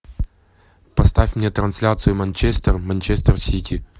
поставь мне трансляцию манчестер манчестер сити